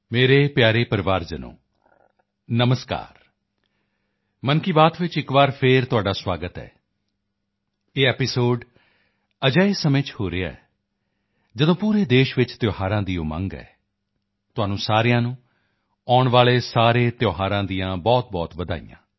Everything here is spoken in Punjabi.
ਮੇਰੇ ਪਿਆਰੇ ਪਰਿਵਾਰਜਨੋਂ ਨਮਸਕਾਰ ਮਨ ਕੀ ਬਾਤ ਵਿੱਚ ਤੁਹਾਡਾ ਇੱਕ ਵਾਰ ਫਿਰ ਸਵਾਗਤ ਹੈ ਇਹ ਐਪੀਸੋਡ ਅਜਿਹੇ ਸਮੇਂ ਵਿੱਚ ਹੋ ਰਿਹਾ ਹੈ ਜਦੋਂ ਪੂਰੇ ਦੇਸ਼ ਵਿੱਚ ਤਿਓਹਾਰਾਂ ਦੀ ਉਮੰਗ ਹੈ ਤੁਹਾਨੂੰ ਸਾਰਿਆਂ ਨੂੰ ਆਉਣ ਵਾਲੇ ਸਾਰੇ ਤਿਓਹਾਰਾਂ ਦੀਆਂ ਬਹੁਤਬਹੁਤ ਵਧਾਈਆਂ